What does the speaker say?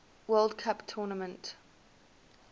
world cup tournament